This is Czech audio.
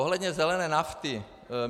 Ohledně zelené nafty.